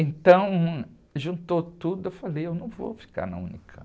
Então, juntou tudo, eu falei, eu não vou ficar na unicampi.